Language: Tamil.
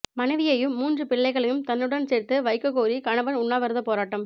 மனைவியையும் மூன்று பிள்ளைகளையும் தன்னுடன் சேர்த்து வைக்கக் கோரி கணவன் உண்ணாவிரதப் போராட்டம்